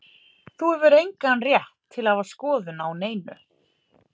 Þú hefur engan rétt til að hafa skoðun á neinu.